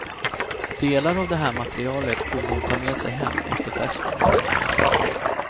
Delar av det här materialet kunde hon ta med sig hem efter festen.